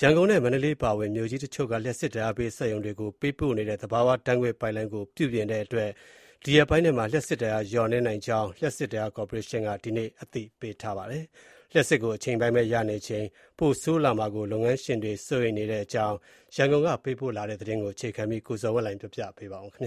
ရန်ကုန်နဲ့ မန္တလေးအပါအဝင် မြို့ကြီးတချို့က လျှပ်စစ်ဓာတ်အားပေး စက်ရုံတွေကို ပေးပို့နေတဲ့ သဘာဝဓာတ်ငွေ့ပိုက်လိုင်းကို ပြုပြင်တဲ့အတွက် ဒီရက်ပိုင်းထဲမှာ လျှပ်စစ်ဓာတ်အား လျှော့နည်းနိုင်ကြောင်း လျှပ်စစ်ဓာတ်အားကော်ပိုရေးရှင်းက ဒီနေ့ တပြိုင်နက်တည်း အသိပေးထားပါတယ်။ လျှပ်စစ်ကို အချိန်ပိုင်းပဲရနေချိန်မှာ ထပ်ပြီးပိုဆိုးလာမယ့် အခြေအနေကို လုပ်ငန်းရှင်တွေက စိုးရိမ်ကြပါတယ်။ ဒီအကြောင်း ရန်ကုန်က ပေးပို့တဲ့သတင်းကို အခြေခံပြီး ကိုဇော်ဝင်းလှိုင်က ပြောပြမှာပါ။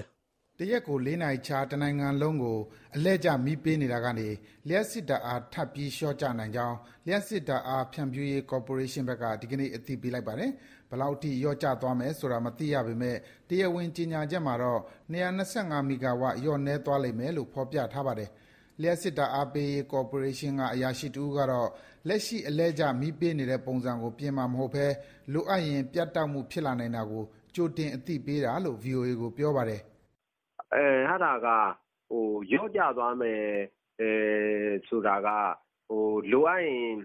တရက်ကို လေးနာရီခြား တနိုင်ငံလုံးကို အလှည့်ကျမီးပေးနေတာကနေ လျှပ်စစ်ဓာတ်အား ထပ်ပြီးလျော့ကျနိင်ကြောင်း လျှပ်စစ်ဓာတ်အား ဖြန့်ဖြူးရေး ကော်ပိုရေးရှင်းဘက်က ဒီနေ့အသိပေးလိုက်ပါတယ်။ ဘယ်လောက်အထိ လျော့ကျသွားမယ်ဆိုတာ မသိရပေမဲ့ တရားဝင် ကြေညာချက်မှာတော့ ၂၂၅ မီဂါဝပ် လျော့နည်းသွားလိမ့်မယ်လို့ ဖော်ပြထားပါတယ်။ လျှပ်စစ်ဓာတ်အားပေးရေး ကော်ပိုရေးရှင်းက အရာရှိတဦးကတော့ လက်ရှိ အလှည့်ကျမီးပေးတဲ့ပုံစံကို ပြင်မှာမဟုတ်ဘဲ လိုအပ်ရင် ပြတ်တောက်မှု ဖြစ်နိုင်တာကို ကြိုတင်အသိပေးတာလို့ ဗွီအိုအေကို ပြောပါတယ်။ " အဲဒါက လျော့ကျသွားမယ်ဆိုတာက လိုအပ်ရင်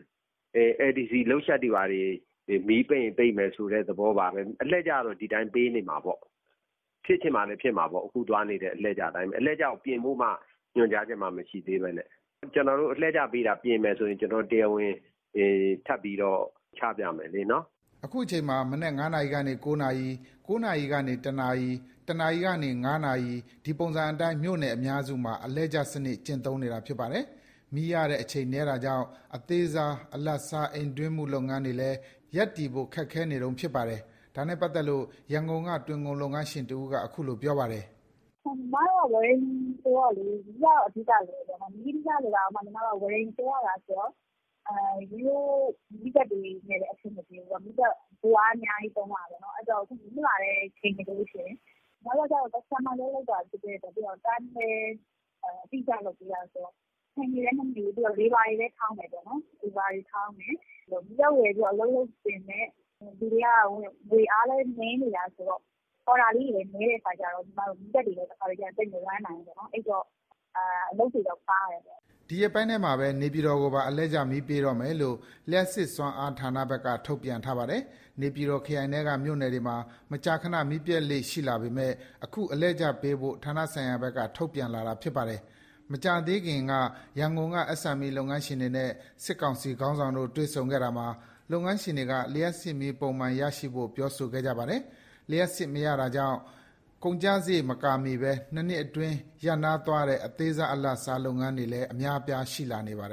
L.D.C Load Shed တွေဘာတွေ၊ မီးပိတ်ရင်ပိတ်မယ်ဆိုတဲ့ သဘောပါပဲ။ အလှည့်ကျတော့ ဒီအတိုင်း ပေးနေမှာပေါ့။ ဖြစ်ချင်မှလည်း ဖြစ်မှာပေါ့။ အခုသွားနေတဲ့ အလှည့်ကျအတိုင်းပဲ။ အလှည့်ကျကိုပြင်ဖို့မှ ညွှန်ကြားချက်မှ မရှိသေးဘဲနဲ့။ ကျနော်တို့ အလှည့်ကျပေးတာ ပြင်မယ်ဆိုရင် တရားဝင် ထပ်ပြီးတော့ ချပြမယ်နော်။" အခု မနက် ၅နာရီကနေ ၉နာရီ၊ ၉နာရီကနေ ၁နာရီ၊ ၁နာရီကနေ ၅နာရီ ဒီပုံစံအတိုင်း မြို့နယ်အများစုမှာ အလှည့်ကျစနစ် ကျင့်သုံးနေတာ ဖြစ်ပါတယ်။ မီးရတဲ့အချိန် နည်းတာကြောင့် အသေးစား၊ အလတ်စား အိမ်တွင်းမှုလုပ်ငန်းတွေလည်း ရပ်တည်ဖို့ ခက်ခဲနေတုန်းဖြစ်ပါတယ်။ ဒါနဲ့ပတ်သက်လို့ ရန်ကုန်က တွင်ခုံလုပ်ငန်းရှင်တဦးက အခုလိုပြောပါတယ်။ "ညီမတို့က ဝရိန်ဆိုတော့ မီးက အဓိကလိုတယ်ပေါ့နော်။ မီးရနေတာတောင်မှ ညီမတို့က ဝရိတ်တွန်းရတာဆိုတော့ ရိုးရိုးမီးစက်တွေနဲ့လည်း အဆင်မပြေဘူးပေါ့။ ဗို့အားအများကြီး သုံးရတာပေါ့။ အဲဒီတော့ မီးမလာတဲ့အချိန်တွေဆို ညီမတို့က Customer နဲ့ အလုပ်လုပ်တာဆိုတော့ Time လည်း အတိအကျ လုပ်ပေးရတာဆိုတော့ အချိန်တွေလည်း မမီဘူး။ ပြီးတော့ Labour တွေလည်းထောင်းတယ်။ မီးစက်ဝယ်ပြီး အလုပ်လုပ်ပေမဲ့ လူတွေကငွေအားလည်း နည်းနေတာဆိုတော့ အော်ဒါလေးတွေလည်း နည်းတဲ့အခါကြတော့ တခါတလေ မီးစက်တွေလည်း သိပ်မ Run နိုင်ဘူး။ အဲဒီတော့ အလုပ်တွေလည်း ပါးတယ်ပေါ့။" ဒီရက်ပိုင်းထဲမှာ နေပြည်တော်ကိုပါ အလှည့်ကျမီးပေးတော့မယ်လို့ လျှပ်စစ်စွမ်းအားဌာနဘက်က ထုတ်ပြန်ထားပါတယ်။ နေပြည်တော်ခရိုင်ထဲက မြို့နယ်တွေမှာ မကြာခဏ မီးပျက်လေ့ရှိလာပေမယ့် အခုအလှည့်ကျပေးဖို့ ဌာနဆိုင်ရာဘက်က ထုတ်ပြန်လာတာပါ။ မကြာသေးခင်က ရန်ကုန်က SME လုပ်ငန်းရှင်တွေနဲ့ စစ်ကောင်စီခေါင်းဆောင်တို့ တွေ့ဆုံခဲ့တာမှာ လုပ်ငန်းရှင်တွေက လျှပ်စစ်မီး ပုံမှန်ရရှိဖို့ ပြောဆိုခဲ့ကြပါတယ်။ လျှပ်စစ်မရတာကြောင့် ကုန်ကျစရိတ် မကာမိဘဲ ၂နှစ်အတွင်း ရပ်နားသွားတဲ့ အသေးစား၊ အလတ်စား လုပ်ငန်းတွေ အများအပြားရှိနေပါတယ်